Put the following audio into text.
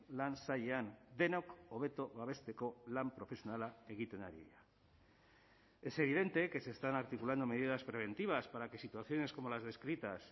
lan sailean denok hobeto babesteko lan profesionala egiten ari da es evidente que se están articulando medidas preventivas para que situaciones como las descritas